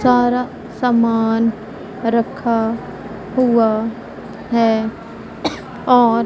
सारा समान रखा हुआ है और--